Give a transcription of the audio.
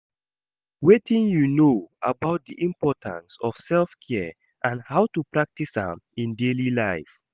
Wetin you know about di importance of self-care and how to practice am in daily life?